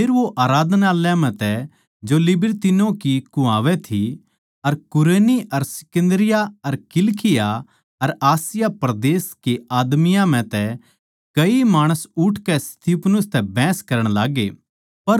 फेर वो आराधनालय म्ह तै जो लिबिरतिनों की कुह्वावै थी अर कुरेनी अर सिकन्दरिया अर किलिकिया अर आसिया परदेस के आदमियाँ म्ह तै कई माणस उठकै स्तिफनुस तै बहसण लाग्गे